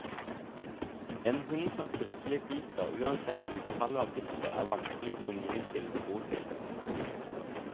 En hund som plutselig biter, uansett utfallet av bittet, er vanskelig å få ny tiltro til.